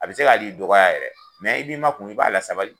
A be se ka hali i dɔgɔya yɛrɛ i b'i ma kun i b'a la sabali.